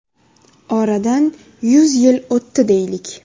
Oradan yuz yil o‘tdi deylik.